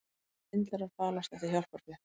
Svindlarar falast eftir hjálparfé